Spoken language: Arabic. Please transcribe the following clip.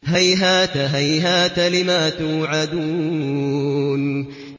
۞ هَيْهَاتَ هَيْهَاتَ لِمَا تُوعَدُونَ